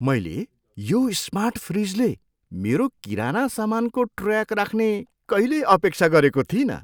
मैले यो स्मार्ट फ्रिजले मेरो किराना सामानको ट्रयाक राख्ने कहिल्यै अपेक्षा गरेको थिइनँ।